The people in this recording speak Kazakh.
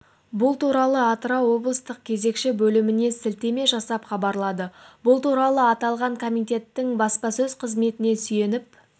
бұл туралы атырау облыстық кезекші бөліміне сілтеме жасап хабарлады бұл туралы аталған комитеттің баспасөз қызметіне сүйеніп